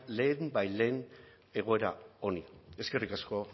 lehenbailehen egoera honi eskerrik asko